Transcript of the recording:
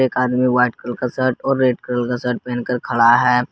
एक आदमी white colour का शर्ट और रेड कलर का शर्ट पहनकर खड़ा है।